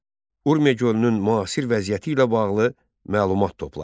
Urmiya gölünün müasir vəziyyəti ilə bağlı məlumat topla.